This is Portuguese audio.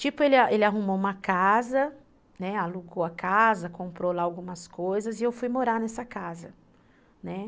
Tipo, ele ele arrumou uma casa, né, alugou a casa, comprou lá algumas coisas e eu fui morar nessa casa, né.